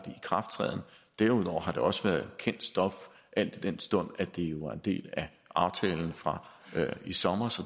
ikrafttræden derudover har det også været kendt stof al den stund at det jo var en del af aftalen fra i sommer